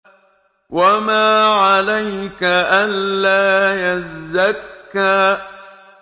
وَمَا عَلَيْكَ أَلَّا يَزَّكَّىٰ